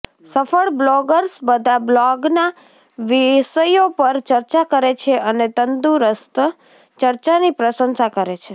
સફળ બ્લોગર્સ બધા બ્લોગના વિષયો પર ચર્ચા કરે છે અને તંદુરસ્ત ચર્ચાની પ્રશંસા કરે છે